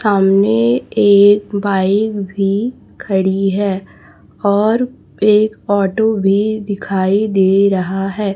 सामने एक बाइक भी खड़ी है और एक ऑटो भी दिखाई दे रहा है।